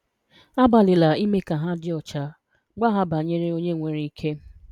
Agbalịla ime ka ha dị ọcha, gwa ha banyere Onye nwere ike.